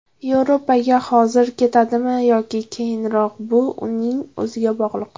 Yevropaga hozir ketadimi yoki keyinroqmi bu uning o‘ziga bog‘liq.